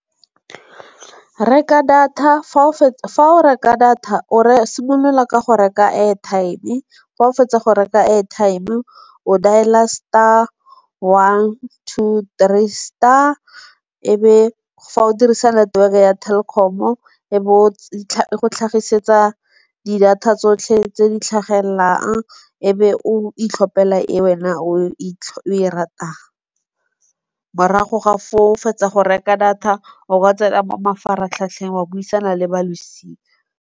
Reka data fa o reka data o simolola ka go reka airtime-e. Fa o fetsa go reka airtime-e o dial-a star one two three star. E be fa o dirisa network-e ya Telkom-o e be o tlhagisetsa di data tsotlhe tse di tlhagelelang e be o itlhopela e wena o e ratang. Morago ga foo fetsa go reka data o ka tsena mo mafaratlhatlheng wa buisana le ba losika.